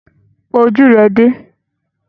Pa ojú rẹ dé!